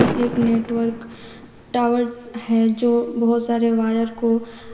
मे एक network tower है जो बहोत सारे वायर को --